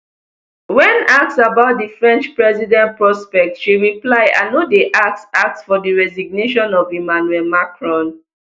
wen asked about di french president prospects she reply i no dey ask ask for di resignation of emmanuel macron